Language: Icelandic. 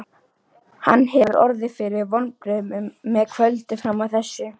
Hann hefur orðið fyrir vonbrigðum með kvöldið fram að þessu.